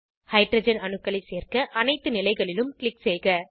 hydrogen அணுக்களை சேர்க்க அனைத்து நிலைகளிலும் க்ளிக் செய்க